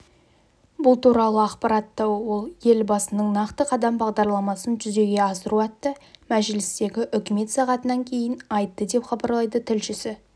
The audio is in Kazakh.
бұл туралы ақпаратты ол елбасының нақты қадам бағдарламасын жүзеге асыру атты мәжілістегі үкімет сағатынан кейін айтты деп хабарлайды тілшісі